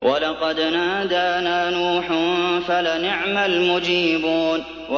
وَلَقَدْ نَادَانَا نُوحٌ فَلَنِعْمَ الْمُجِيبُونَ